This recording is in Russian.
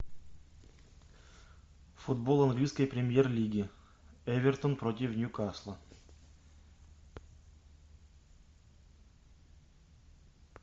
футбол английской премьер лиги эвертон против ньюкасла